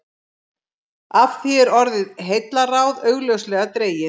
Af því er orðið heillaráð augljóslega dregið.